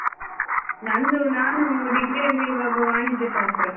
ನಂದು ನಾನು degree ಯಲ್ಲಿರುವಾಗ ವಾಣಿಜ್ಯಶಾಸ್ತ್ರ.